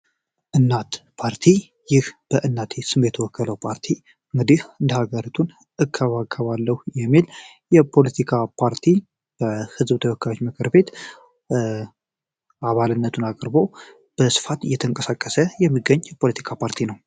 እናት ፓርቲ ይህ በእናት ስቤት ወከለው ፓርቲ እግዲህ እንደሀገርቱን እካባከባለው የሚል የፖለቲካ ፓርቲ በሕዝብ ተወካዮች መክር ቤት አባልነቱን አቅርቦ በስፋት እየተንቀሳከሰ የሚገኝ ፖለቲካ ፓርቲ ነው።